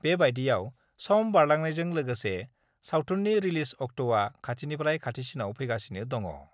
बेबायदियाव सम बारलांनायजों लोगोसे सावथुननि रिलिज अक्टआ खाथिनिफ्राय खाथिसिनाव फैंगासिनो दङ।